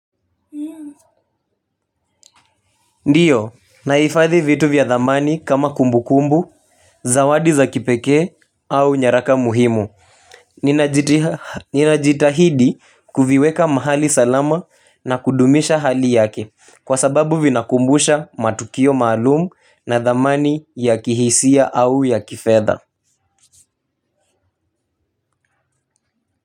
Ndiyo naifadhi vitu vya dhamani kama kumbu kumbu zawadi za kipekee au nyaraka muhimu. Ninajitahidi kuviweka mahali salama na kudumisha hali yake kwa sababu vinakumbusha matukio maalum na dhamani ya kihisia au ya kifedha.